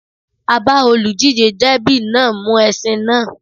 A bá olùdíjé dẹ́bì náà mú ẹṣin náà